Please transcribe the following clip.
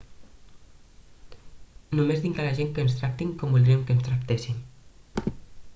només dic a la gent que ens tractin com voldrien que els tractéssim